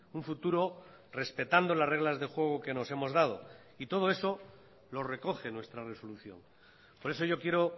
un futuro respetando las reglas de juego que nos hemos dado y todo eso lo recoge nuestra resolución por eso yo quiero